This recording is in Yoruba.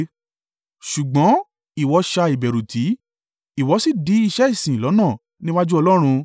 Ṣùgbọ́n ìwọ ṣá ìbẹ̀rù tì, ìwọ sì dí iṣẹ́ ìsìn lọ́nà níwájú Ọlọ́run.